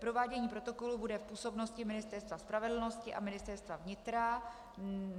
Provádění protokolu bude v působnosti Ministerstva spravedlnosti a Ministerstva vnitra.